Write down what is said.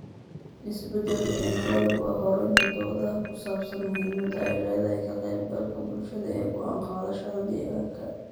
Isbeddelka cimiladu waa hurinta doodaha ku saabsan muhiimadda ay leedahay ka qaybgalka bulshada ee go'aan qaadashada deegaanka.